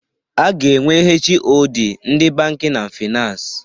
A ga-enwe HoD ndị bankin and finans.